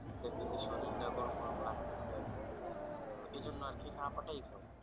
দেখতেছি শরীরটা গরম গরম লাগছে এইজন্য আরকি না